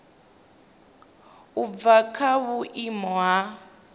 u bva kha vhuimo ha